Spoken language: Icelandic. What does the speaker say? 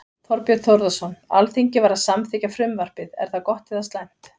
Þorbjörn Þórðarson: Alþingi var að samþykkja frumvarpið, er það gott eða slæmt?